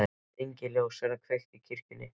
Engin ljós verða kveikt í kirkjunni.